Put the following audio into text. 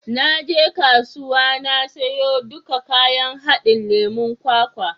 Na je kasuwa na siyo duka kayan haɗin lemon kwakwa.